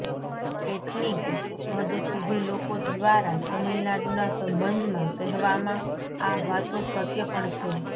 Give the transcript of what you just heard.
કેટલીંક હદ સુધી લોકો દ્વારા તમિલનાડુના સંબંધમાં કહેવામાં આ વાતો સત્ય પણ છે